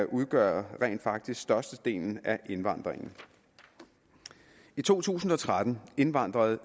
udgør rent faktisk størstedelen af indvandringen i to tusind og tretten indvandrede